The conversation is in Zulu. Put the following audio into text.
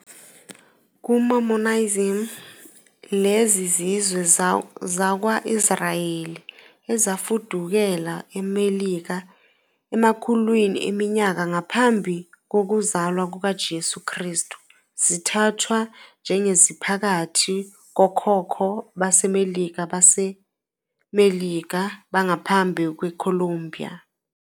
KuMormonism, lezi zizwe zakwa-Israyeli ezafudukela eMelika emakhulwini eminyaka ngaphambi kokuzalwa kukaJesu Kristu zithathwa njengeziphakathi kokhokho baseMelika baseMelika bangaphambi kweColombia.